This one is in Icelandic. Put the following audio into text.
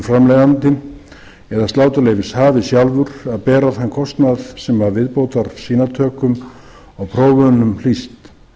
framleiðandinn eða sláturleyfishafi sjálfur að bera þann kostnað sem af viðbótarsýnatökum og prófunum hlýst